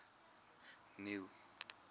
neil